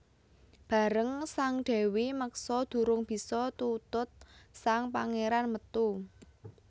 Bareng sang Dèwi meksa durung bisa tutut sang Pangéran metu